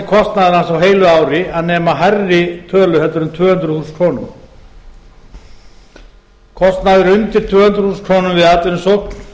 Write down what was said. hans á heilu ári að nema hærri tölu heldur en tvö hundruð þúsund króna kostnaður undir tvö hundruð þúsund krónur við atvinnusókn